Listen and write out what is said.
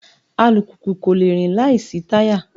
Alùpùpù kò le rìn láìsí táyà